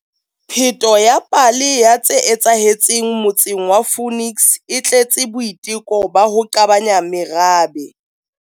Pheto ya pale ya tse etsahetseng motseng wa Phoenix e tletse boiteko ba ho qabanya merabe.